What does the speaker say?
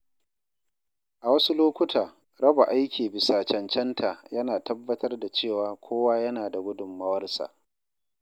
A wasu lokuta, raba aiki bisa cancanta yana tabbatar da cewa kowa yana da gudunmawarsa.